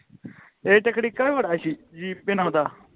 eight ਕੁੜੀ ਕਾ ਬੜਾ ਸੀ ਸੀਪੇ ਨਾਲ ਓਹਦਾ